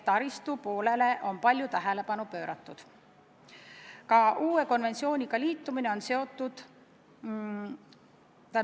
Taristule on palju tähelepanu pööratud.